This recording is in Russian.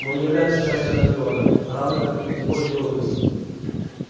мы не являемся частью анакреона равно как и никакой другой области